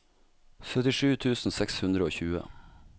syttisju tusen seks hundre og tjue